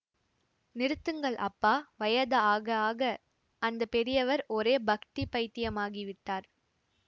நிறுத்துங்கள் அப்பா வயதாக ஆக அந்த பெரியவர் ஒரே பக்தி பைத்தியமாகி விட்டார்